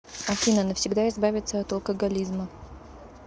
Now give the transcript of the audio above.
афина навсегда избавиться от алкоголизма